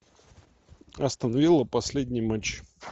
астон вилла последний матч